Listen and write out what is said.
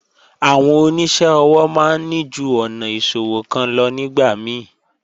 Àwọn oníṣẹ́ ọwọ́ máa ń ní ju ọ̀nà ìṣòwò kan lọ nígbà mí